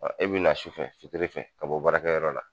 e bɛ na sufɛ fitirifɛ ka bɔ baarakɛ yɔrɔ la.